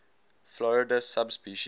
florida subspecies